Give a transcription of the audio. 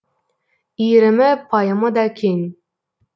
иірімі пайымы да кең